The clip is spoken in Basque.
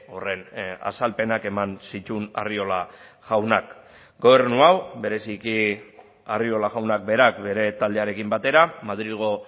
horren azalpenak eman zituen arriola jaunak gobernu hau bereziki arriola jaunak berak bere taldearekin batera madrilgo